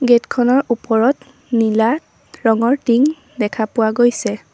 Gate খনৰ ওপৰত নীলা ৰঙৰ টিং দেখা পোৱা গৈছে।